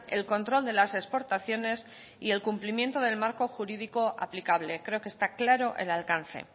el control de las exportaciones y el cumplimiento del marco jurídico aplicable creo que está claro el alcance